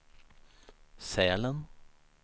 Sälen